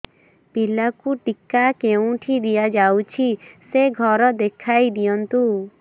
ପିଲାକୁ ଟିକା କେଉଁଠି ଦିଆଯାଉଛି ସେ ଘର ଦେଖାଇ ଦିଅନ୍ତୁ